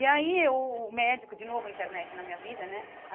E aí, o médico... De novo, a internet na minha vida, né?